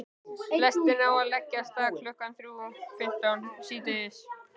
Lestin á að leggja af stað klukkan þrjú fimmtán síðdegis.